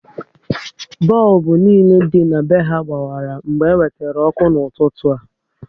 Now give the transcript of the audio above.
Bọlbụ niile dị na be ha gbawara mgbe e wetere ọkụ n'ụtụtụ a